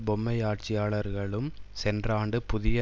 பொம்மையாட்சியாளர்களும் சென்ற ஆண்டு புதிய